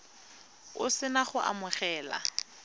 o se na go amogela